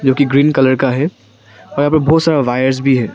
जो की green colour का है पर यहां पर बहुत सारा वायर्स भी है।